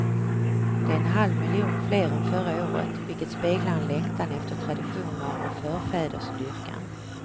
Det är en halvmiljon fler än förra året, vilket speglar en längtan efter traditioner och förfädersdyrkan.